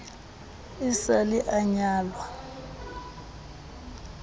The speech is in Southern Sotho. e sa le a nyalwa